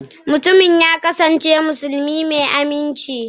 mutumin ya kasance musulmi mai aminci